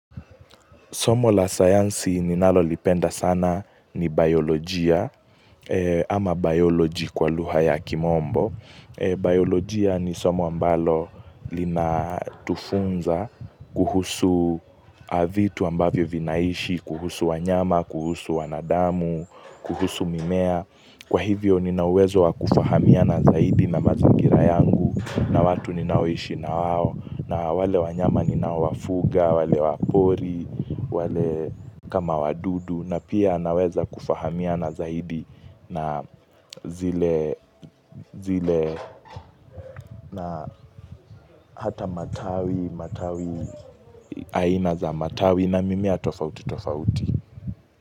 Somo la sayansi ninalo lipenda sana ni biolojia ama biology kwa luha ya kimombo. Biolojia ni somo ambalo lina tufunza kuhusu vitu ambavyo vinaishi, kuhusu wanyama, kuhusu wanadamu, kuhusu mimea. Kwa hivyo nina uwezo wakufahamia na zaidi na mazingira yangu na watu ninaoishi na wao na wale wanyama ninowafuga, wale wapori, wale kama wadudu na pia naweza kufahamiana zaidi na zile na hata matawi, matawi aina za matawi na mimea tofauti tofauti.